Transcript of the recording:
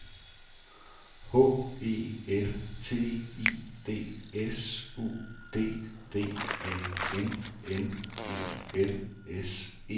H E L T I D S U D D A N N E L S E